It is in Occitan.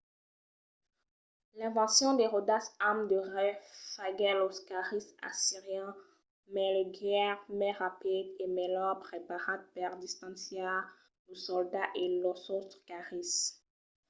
l'invencion de ròdas amb de rais faguèt los carris assirians mai leugièrs mai rapids e melhor preparats per distanciar los soldats e los autres carris